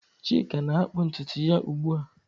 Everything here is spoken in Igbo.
Chika na-akpụ ntutu ya ugbu a.